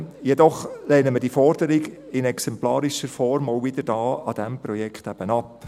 Jedoch lehnen wir diese Forderung in exemplarischer Form auch hier zu diesem Projekt wieder ab.